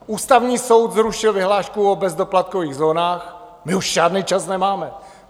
Ústavní soud zrušil vyhlášku o bezdoplatkových zónách, my už žádný čas nemáme.